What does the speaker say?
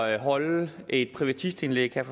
at holde et privatistindlæg